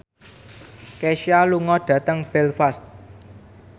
Kesha lunga dhateng Belfast